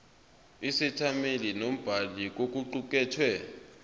isethameli nombhali kokuqukethwe